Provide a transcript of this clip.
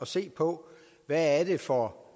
se på hvad det er for